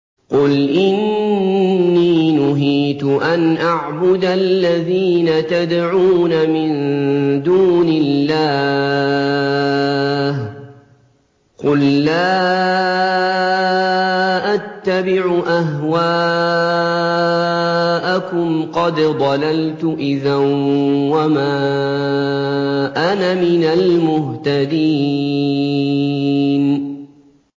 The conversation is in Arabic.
قُلْ إِنِّي نُهِيتُ أَنْ أَعْبُدَ الَّذِينَ تَدْعُونَ مِن دُونِ اللَّهِ ۚ قُل لَّا أَتَّبِعُ أَهْوَاءَكُمْ ۙ قَدْ ضَلَلْتُ إِذًا وَمَا أَنَا مِنَ الْمُهْتَدِينَ